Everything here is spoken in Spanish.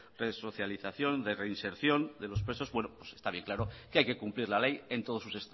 resocialización y de reinserción de los presos está bien claro que hay que cumplir la ley en todos sus